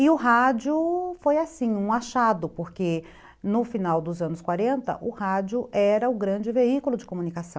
E o rádio foi assim, um achado, porque no final dos anos quarenta o rádio era o grande veículo de comunicação.